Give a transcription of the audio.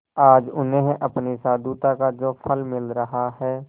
आज उन्हें अपनी साधुता का जो फल मिल रहा है